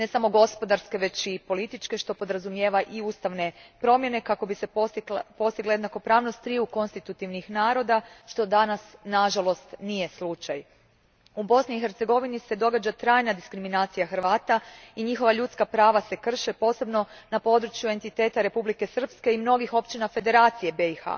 Ne samo gospodarske, već i političke što podrazumijeva i ustavne promijene kako bi se postigla jednakopravnost triju konstitutivnih naroda, što danas nažalost nije slučaj. U BiH se događa trajna diskriminacija Hrvata i njihova ljudska prava se krše posebno na području entiteta Republike Srpske i mnogih općina Federacije BiH.